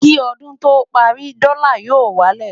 kí ọdún tó párí, dòla yó wà lẹ